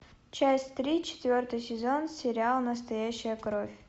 часть три четвертый сезон сериал настоящая кровь